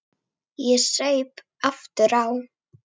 Ég saup aftur á.